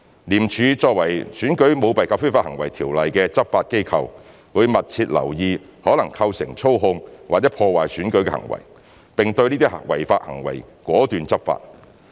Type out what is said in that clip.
廉署作為《選舉條例》的執法機構，會密切留意可能構成操控或破壞選舉的行為，並對這些違法活動果斷地執法。